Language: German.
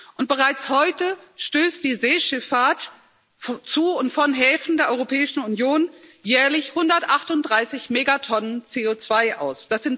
Und bereits heute stößt die Seeschifffahrt zu und von Häfen der Europäischen Union jährlich 138 Megatonnen CO2 aus.